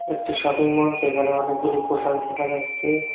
একটি shopping mall যেখানে অনেকগুলি পোশাক দেখা যাসসে ।